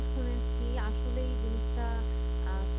শুনেছি আসলে এই জিনিসটা আহ